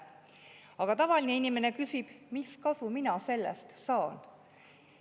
Aga tavaline inimene küsib, mis kasu mina sellest saan?